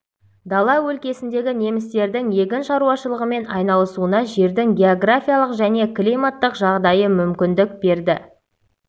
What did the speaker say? дала өлкесіндегі немістердің егін шаруашылығымен айналысуына жердің географиялық және климаттық жағдайы мүмкіндік берді